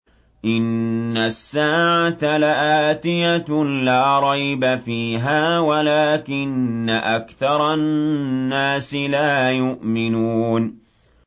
إِنَّ السَّاعَةَ لَآتِيَةٌ لَّا رَيْبَ فِيهَا وَلَٰكِنَّ أَكْثَرَ النَّاسِ لَا يُؤْمِنُونَ